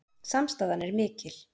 Samstaðan er mikil